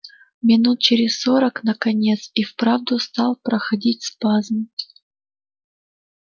минут через сорок наконец и вправду стал проходить спазм